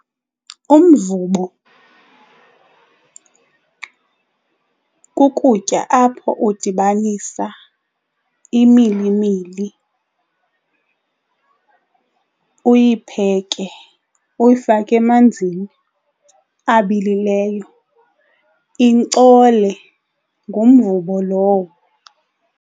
Umvubo kukutya apho udibanisa imilimili uyipheke uyifake emanzini abilileyo, inkcole. Ngumvubo lowo.